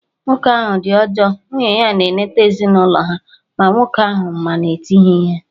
Nwoke ahụ dị ọjọọ, nwunye ya na-enete ezinụlọ ha, ma nwoke ahụ ma na eti ya ihe